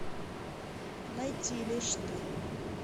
найти лишь ты